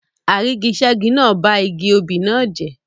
Àrígiṣẹ́gi náà ba igi obì náà jẹ́.